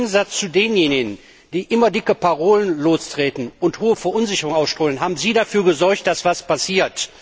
Im Gegensatz zu denjenigen, die immer dicke Parolen verbreiten und hohe Verunsicherung auslösen, haben Sie dafür gesorgt, dass etwas passiert.